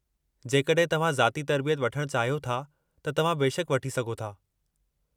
जेकॾहिं तव्हां ज़ाती तरबियत वठणु चाहियो था, त तव्हां बेशकि वठी सघो था।